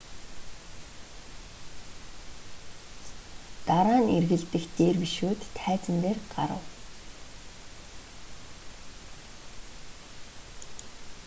дараа нь эргэлдэх дервишүүд тайзан дээр гарав